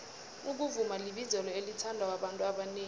ukuvuma libizelo elithandwa babantu abanengi